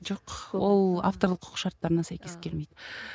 жоқ ол авторлық құқық шарттарына сәйкес келмейді